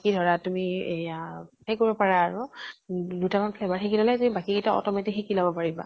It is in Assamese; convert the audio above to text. মানে কি ধৰা তুমি এয়া সেই কৰিব পাৰা আৰু দুটামান flavour শিকি ললে তুমি বাকী গিতা automatic শিকি লব পাৰিবা।